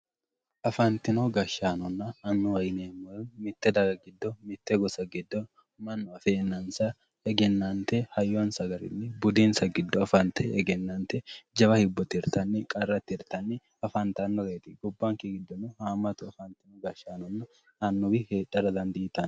Afantino gashshaanonna annuwa yineemmohu mite daga giddo mite gosa giddo mannu affenansa hayyonsa nna budinsa giddo affante egennante jawa hibbo qarra tirtanni afantanoreti, gobbanke giddono haamatu afantino gashshaanonna annuwi heedhara dandiittano.